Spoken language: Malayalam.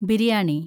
ബിരിയാണി